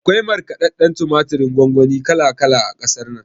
Akwai markaɗadɗen tumaturin gongoni kala kala a ƙasar nan